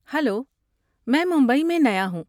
Hello, میں ممبئی میں نیا ہوں۔